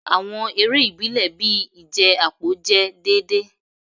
Awọn ere ibile bii ije apo jẹ deede